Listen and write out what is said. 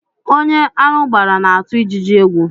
Ónyé aṅụ gbàrà na-atụ ijiji égwu